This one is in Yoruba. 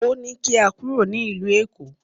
Ó ní kí a kúrò ní ìlú Èkó